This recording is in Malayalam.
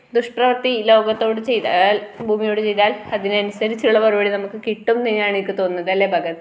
ദുഷ് പ്രവർത്തി ലോകത്തോട് ചെയ്താൽ ഭൂമിയോടു ചെയ്താൽ അതിനനുസരിച്ചുള്ള മറുപടി നമുക്ക് കിട്ടും എന്നുതന്നെയാണ് എനിക്ക് തോന്നുന്നത് അല്ലെ ഭഗത്